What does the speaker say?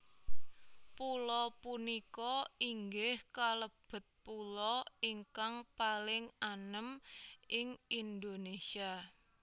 Pulo punika inggih kalebet pulo ingkang paling anem ing Indonésia